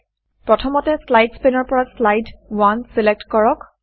প্ৰথমতে slides slides পেনৰ পৰা শ্লাইড শ্লাইড 1 চিলেক্ট কৰক